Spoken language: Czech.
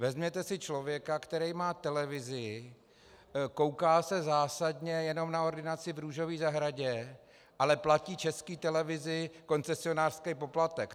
Vezměte si člověka, který má televizi, kouká se zásadně jenom na Ordinaci v růžové zahradě, ale platí České televizi koncesionářský poplatek.